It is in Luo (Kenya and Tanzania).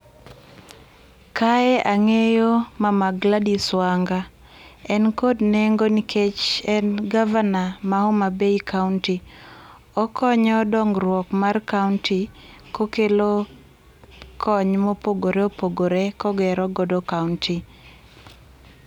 Kae ang'eyo mama Gladys Wanga, en kod nengo nikech en gavana ma Homa Bay kaunti okonyo dongruok mar kaunti kokelo kony ma opogore opogore ka ogero godo kaunti